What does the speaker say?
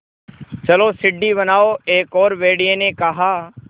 चलो सीढ़ी बनाओ एक और भेड़िए ने कहा